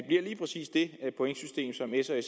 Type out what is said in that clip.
pointsystem som s og